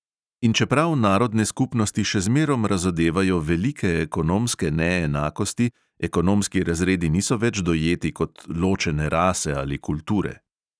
In čeprav narodne skupnosti še zmerom razodevajo velike ekonomske neenakosti, ekonomski razredi niso več dojeti kot ločene rase ali kulture.